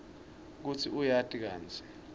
kutsi uyati kantsi